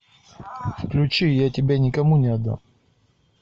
включи я тебя никому не отдам